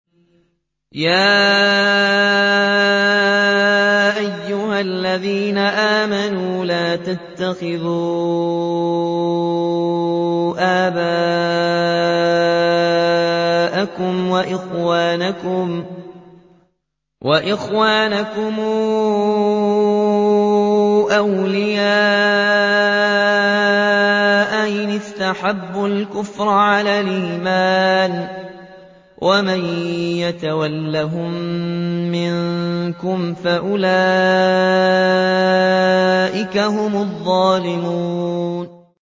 يَا أَيُّهَا الَّذِينَ آمَنُوا لَا تَتَّخِذُوا آبَاءَكُمْ وَإِخْوَانَكُمْ أَوْلِيَاءَ إِنِ اسْتَحَبُّوا الْكُفْرَ عَلَى الْإِيمَانِ ۚ وَمَن يَتَوَلَّهُم مِّنكُمْ فَأُولَٰئِكَ هُمُ الظَّالِمُونَ